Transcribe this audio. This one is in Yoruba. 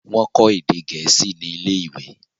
wón kò èdè gẹẹsi Ní ilé ìwé.